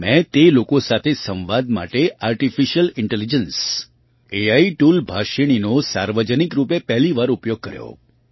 ત્યાં મેં તે લોકો સાથે સંવાદ માટે આર્ટિફિશિયલ ઇન્ટેલિજન્સ એઆઈ ટૂલ ભાષિણીનો સાર્વજનિક રૂપે પહેલી વાર ઉપયોગ કર્યો